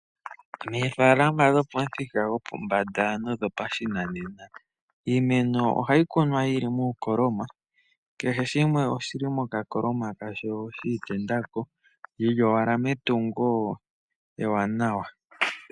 Meefaalama dhopomuthika gopombanda nodhopashinanena. Iimeno ohayikunwa yili muukoloma kehe shimwe oshili mokakoloma kasho shiitendako yili owala metungo ewanawa.